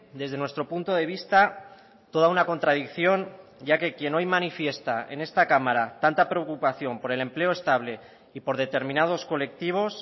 desde nuestro punto de vista toda una contradicción ya que quien hoy manifiesta en esta cámara tanta preocupación por el empleo estable y por determinados colectivos